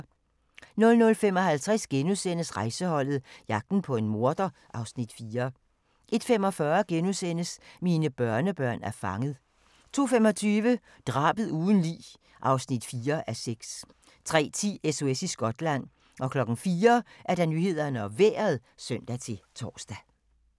00:55: Rejseholdet - jagten på en morder (Afs. 4)* 01:45: Mine børnebørn er fanget * 02:25: Drabet uden lig (4:6) 03:10: SOS i Skotland 04:00: Nyhederne og Vejret (søn-tor)